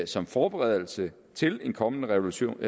som forberedelse til en kommende revision